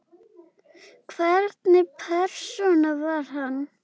Hvernig persóna var hann?